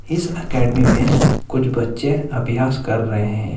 इस एकेडमी में कुछ बच्चे अभ्यास कर रहे हैं।